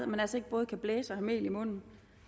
man altså ikke både kan blæse og have mel i munden